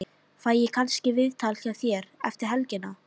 Fæ ég kannski viðtal hjá þér eftir helgina?